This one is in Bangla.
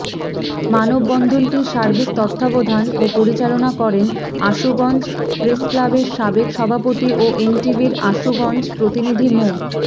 মানববন্ধনটি সার্বিক তত্ত্বাবধান ও পরিচালনা করেন আশুগঞ্জ প্রেসক্লাবের সাবেক সভাপতি ও এনটিভির আশুগঞ্জ প্রতিনিধি মো